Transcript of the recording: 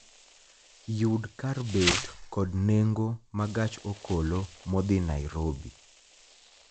Yud kar bet kod nengo ma gach okolo modhi Nairobi